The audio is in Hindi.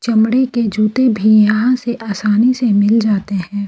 चमड़े के जूते भी यहां से आसानी से मिल जाते हैं।